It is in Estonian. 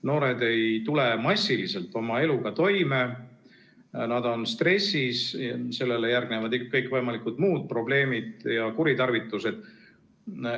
Noored ei tule massiliselt oma eluga toime, nad on stressis, sellele järgnevad kõikvõimalikud muud probleemid ja kuritarvitused.